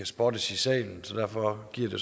spottes i salen så derfor giver det